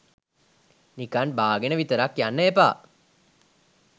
නිකන් බාගෙන විතරක් යන්න එපා.